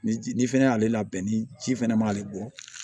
Ni fɛnɛ y'ale labɛn ni ji fɛnɛ m'ale bɔ